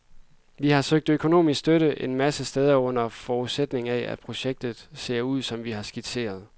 Vi har søgt økonomisk støtte en masse steder under forudsætning af, at projektet ser ud, som vi har skitseret.